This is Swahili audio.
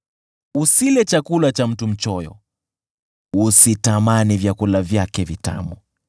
Usile chakula cha mtu mchoyo, usitamani vyakula vyake vitamu,